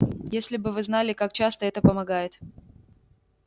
если бы вы знали как часто это помогает